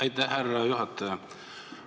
Aitäh, härra juhataja!